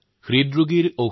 তেওঁলোকৰ যথেষ্ট উপকাৰ হব